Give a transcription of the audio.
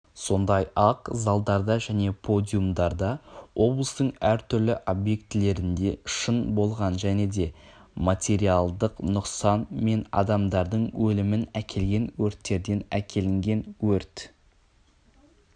сондай-ақ залдарда және подиумдарда облыстың әр түрлі объектілерінде шын болған және де материалдық нұқсан мен адамдардың өлімін әкелген өрттерден әкелінген өрт